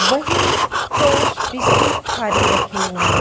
वही toast biscuit खारी रखे हुए हैं।